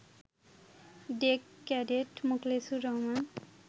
day cadet Mokhlesur Rahman